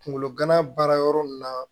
Kunkolo gana baara yɔrɔ mun na